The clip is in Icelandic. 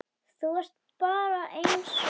Þú ert bara einsog hæna.